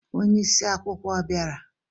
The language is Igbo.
Onye isi akwụkwọ ọ bịara?